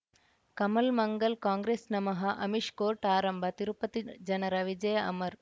ಕಮಲ್ ಮಂಗಳ್ ಕಾಂಗ್ರೆಸ್ ನಮಃ ಅಮಿಷ್ ಕೋರ್ಟ್ ಆರಂಭ ತಿರುಪತಿ ಜನರ ವಿಜಯ ಅಮರ್